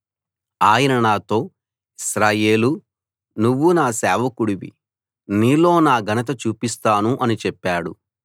ఆయన నాతో ఇశ్రాయేలూ నువ్వు నా సేవకుడివి నీలో నా ఘనత చూపిస్తాను అని చెప్పాడు